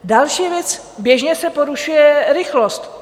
Další věc, běžně se porušuje rychlost.